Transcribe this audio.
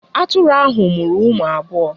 Atụrụ ahụ mụrụ ụmụ abụọ.